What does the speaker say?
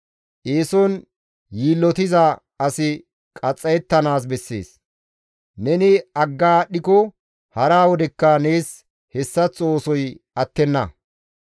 Eeson yiillotiza asi qaxxayettanaas bessees; neni agga aadhdhiko hara wodekka nees hessaththo oosoy attenna.